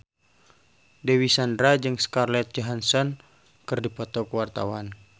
Dewi Sandra jeung Scarlett Johansson keur dipoto ku wartawan